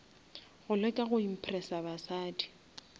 go leka go impressa basadi